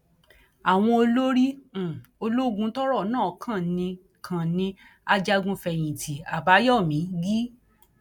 àwọn olórí um ológun tọrọ náà kàn ní kàn ní ajagunfẹyìntì àbáyọmí g